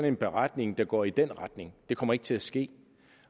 en beretning der går i den retning det kommer ikke til at ske